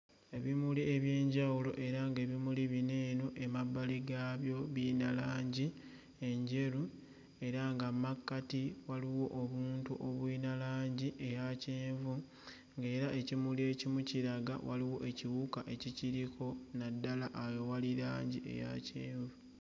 Ebimuli eby'enjawulo era ng'ebimuli bino eno emabbali gaabyo biyina langi enjeru era nga mmakkati waliwo obuntu obuyina langi eya kyenvu ng'era ekimuli ekimu kiraga waliwo ekiwuka ekikiriko naddala awo ewali langi eya kyenvu.